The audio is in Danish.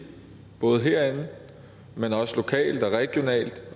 både herinde men også lokalt og regionalt